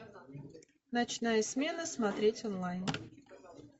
ночная смена смотреть онлайн